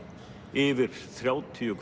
yfir þrjátíu